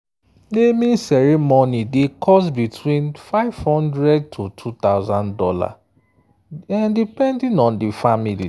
naming ceremony dey cost between $500– two thousand dollars depending on di family.